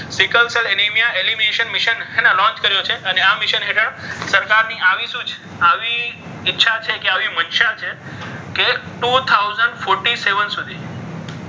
Sickle cell anaemia animation એને ને launch કર્યો છે. અને આ મિશન હેઠળ સરકારની આવી સુજ આવી ઈચ્છા આવી છે કે આવી મનસા છે કે two thousand fourty seven સુધી